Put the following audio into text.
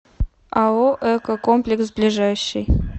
ао эко комплекс ближайший